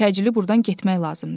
Təcili buradan getmək lazımdır.